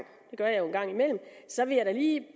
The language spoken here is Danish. imellem så vil jeg da lige